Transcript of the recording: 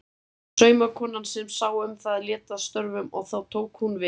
Saumakonan sem sá um það lét af störfum og þá tók hún við.